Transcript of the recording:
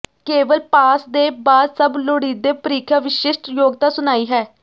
ਕੇਵਲ ਪਾਸ ਦੇ ਬਾਅਦ ਸਭ ਲੋੜੀਦੇ ਪ੍ਰੀਖਿਆ ਵਿਸ਼ਿਸ਼ਟ ਯੋਗਤਾ ਸੁਣਾਈ ਹੈ